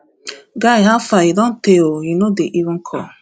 guy howfar e don tey oo you no dey even call